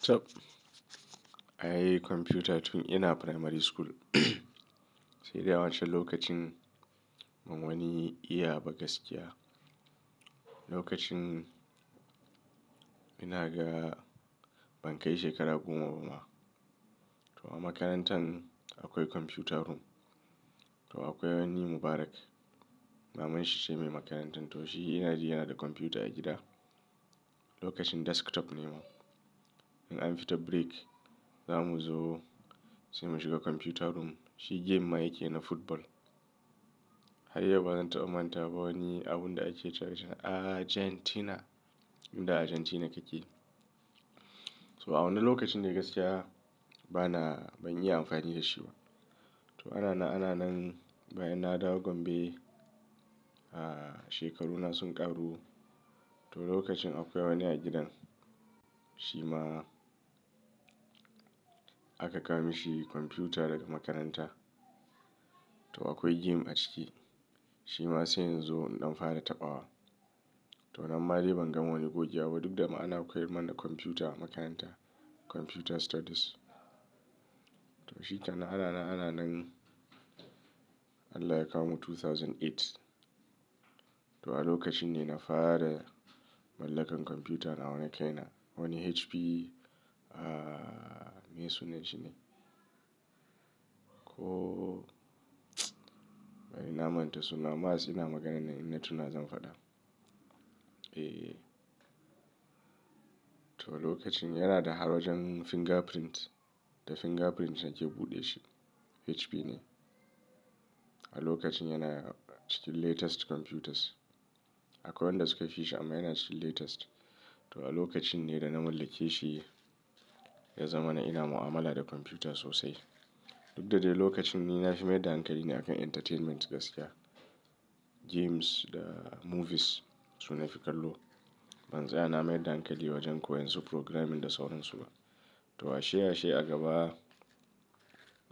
Chap! Ai computer tun ina primary school. Sai dai a wacan lokacin ban wani iya ba gaskiya. Lokacin ina ga ban kai shekara goma ba ma. To a makarantan akwai computer room. To akwai wani Mubarak, maman shi ce mai makarantar. To shi ina ji ya na da computer a gida. Lokacin desktop ne ma. In an fita break, za mu zo sai mu shiga computer room. Shi game ma yake na football. Har yau bazan ta manta ba wani abun da ake cewa shi na Argentina, inda Argentina yake. So a wannan lokacin dai gaskiya bana ban yi amfani da shi ba. To anana ananan bayan na dawo gombe, ah shekaru na sun ƙaru. To lokacin akwai wani a gidan, shi ma aka kawo mishi computer daga makaranta. To akwai game a ciki. Shi ma sai in zo in da fara taɓawa. To amma dai ban ga wani gogewa ba duk da ma ana koyarwa mana computer a makaranta, computer studies. To shi kenan ananan'ananan Allah ya kawo mu 2008. To a lokacin ne na fara mallakan computer nawa na kaina. Wani HP, ah meye sunan shi ne? Ko bari na manta sunan. Mas ina magana nan ina tuna zan faɗa. Eh. To a lokacin yana da har wajen fingerprint. Da fingerprint yake buɗe shi. HP ne. A lokacin yana cikin latest computers. Akwai wanda suka fi shi amma yana cikin latest. To a lokacin ne da na mallake shi, ya zama na ina mu'amala da computer sosai. Duk da dai lokacin ni na fi mai dankali ne a kan entertainment gaskiya. Games da movies su na fi kallo. Ban tsaya na mai dankali wajen koyan su programming da sauransu ba. To ashe ashe a gaba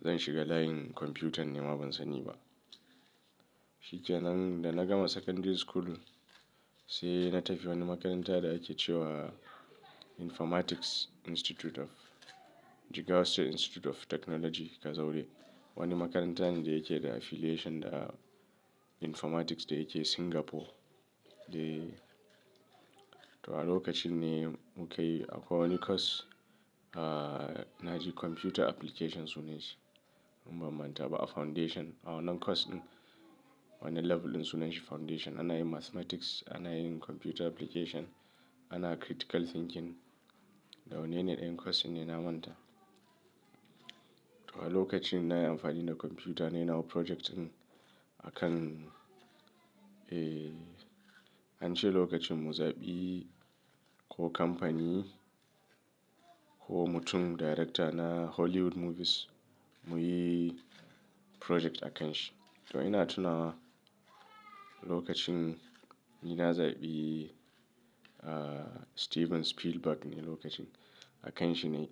zan shiga layin computer ne ma ban sani ba. Shi kenan da na gama secondary school sai na tafi wani makarantar da ake ce wa Informatics Institute of Jigawa State Institute of Technology Kazauri. Wani makarantar ne da yake da affiliation da informatics da yake Singapore. Dai. To a lokacin ne mu ka yi akwai wani course, ah na ji computer application sunan shi. Umm ban manta ba a foundation. A wannan course din wani level din sunan shi foundation. Ana yin mathematics, ana yin computer application, ana critical thinking. Da wane yanayin course ne na manta. To a lokacin na yi amfani da computer nayi nawo project din a kan, eh, an ce lokacin mu zaɓi ko kamfani ko mutum director na Hollywood movies muyi project a kan shi. To ina tunawa lokacin ni na zaɓi, ah Steven Spielberg ne lokacin a kan shi ne.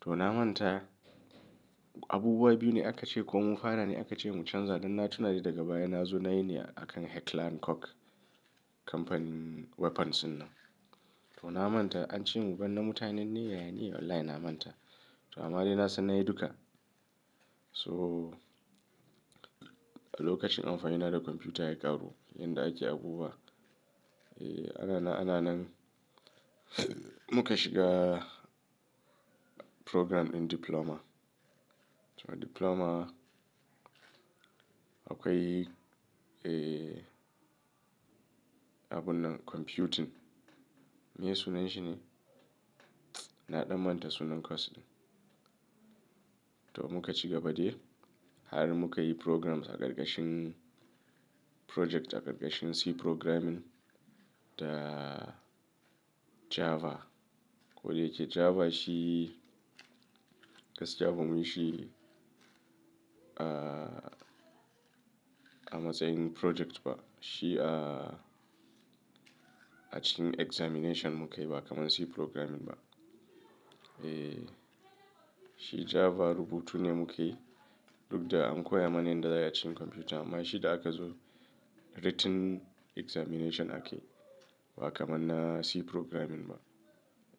To na manta abubuwa biyu ne aka ce ko mu fara ne aka ce mu canza. Dan na tuna shi daga baya na zo nayi ne a kan Heckler& Koch. Kamfanin weapons den nan. To na manta an ce mu binne mutanen ne ya yi ne online na manta. To amma dai na san na yi duka. To a lokacin amfani na da computer ya ƙaru, yadda ake abubuwa. Eh anana ananan muka shiga program in diploma. To diploma akwai, eh, abun nan computing. Meye sunan shi ne? Na ɗan manta sunan course ɗin. To muka shiga ba dai har muka yi programs a ƙarƙashin project a ƙarƙashin C programming da Java. Ko dai yake Java shi gaskiya ba mu yi shi, ah, a matsayin project ba. Shi a, a cikin examination mu ka yi ba kaman C programming ba. Eh, shi Java rubutu ne mu ka yi duk da an koya mana yadda ya yi cikin computer amma shi da aka zo written examination aka yu ba kaman na C programming ba.